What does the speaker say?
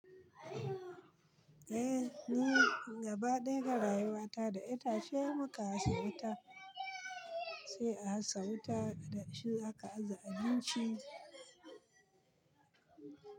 Eh ni gaba ɗaya ga rayuwata da itace muka aza wuta sai a sa wuta da shi aka aza ajin ci.